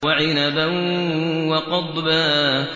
وَعِنَبًا وَقَضْبًا